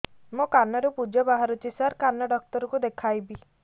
ମୋ କାନରୁ ପୁଜ ବାହାରୁଛି ସାର କାନ ଡକ୍ଟର କୁ ଦେଖାଇବି